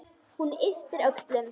Hún ypptir öxlum.